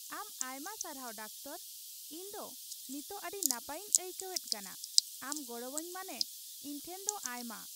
ᱟᱢ ᱟᱭᱢᱟ ᱥᱟᱨᱦᱟᱣ ᱰᱟᱠᱛᱚᱨ ! ᱤᱧ ᱫᱚ ᱱᱤᱛᱚᱜ ᱟᱹᱰᱤ ᱱᱟᱯᱟᱭᱤᱧ ᱟᱹᱭᱠᱟᱹᱣᱮᱫ ᱠᱟᱱᱟ ᱾ ᱟᱢ ᱜᱚᱲᱚᱣᱟᱹᱧ ᱢᱟᱱᱮ ᱤᱧ ᱴᱷᱮᱱ ᱫᱚ ᱟᱭᱢᱟ ᱾